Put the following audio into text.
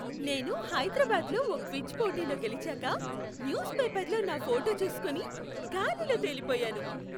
నేను హైదరాబాద్లో ఓ క్విజ్ పోటీలో గెలిచాక, న్యూస్ పేపర్లో నా ఫోటో చూసుకుని గాలిలో తేలిపోయాను!.